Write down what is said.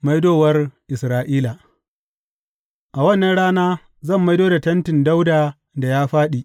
Maidowar Isra’ila A wannan rana zan maido da tentin Dawuda da ya fāɗi.